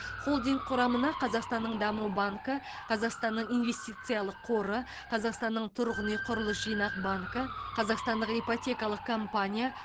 холдинг құрамына қазақстанның даму банкі қазақстанның инвестициялық қоры қазақстанның тұрғын үй құрылыс жинақ банкі қазақстандық ипотекалық компания